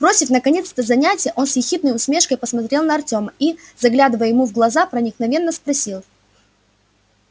бросив наконец это занятие он с ехидной усмешкой посмотрел на артема и заглядывая ему в глаза проникновенно спросил